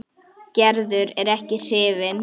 Gerður er ekki hrifin.